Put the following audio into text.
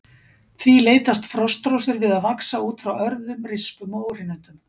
Því leitast frostrósir við að vaxa út frá örðum, rispum og óhreinindum.